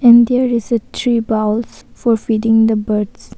And there is a three bowls for feeding the birds.